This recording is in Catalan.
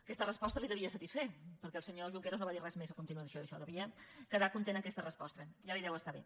aquesta resposta el devia satisfer perquè el senyor junqueras no va dir res més a continuació d’això devia quedar content amb aquesta resposta ja li deu estar bé